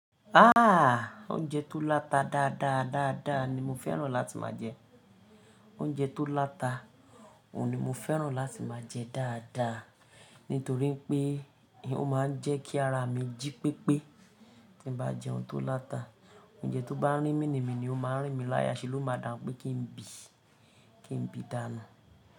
Ha! Oúnjẹ tó láta dáadáa dáadáa ni mo fẹ́ràn láti máa jẹ. Oúnjẹ tó láta, òun ni mo fẹ́ràn láti máa jẹ dáadáa. Nítorí pé ó máa ń jẹ́ kí ara mi jí pépé. Tí n bá jẹun tó láta, oúnjẹ tó bá rí mini mini ó máa n rín min láyà, ṣe ló máa dà n pé kí n bì, kí n bì dànù.